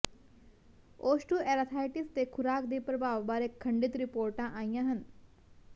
osteoarthritis ਤੇ ਖੁਰਾਕ ਦੇ ਪ੍ਰਭਾਵ ਬਾਰੇ ਖੰਡਿਤ ਰਿਪੋਰਟਾਂ ਆਈਆਂ ਹਨ